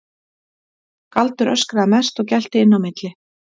Galdur öskraði mest og gelti inn á milli.